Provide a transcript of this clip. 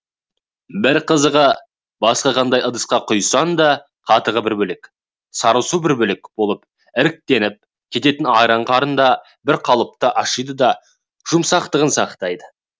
бір қызығы басқа қандай ыдысқа құйсаң да қатығы бір бөлек сары суы бір бөлек болып іртіктеніп кететін айран қарында бір қалыпты ашиды да жұмсақтығын сақтайды